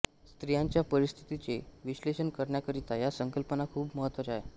स्त्रियांच्या परिस्थितीचे विश्लेषण करण्याकरिता या संकल्पना खूप महत्त्वाच्या आहेत